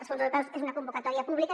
els fons europeus són una convocatòria pública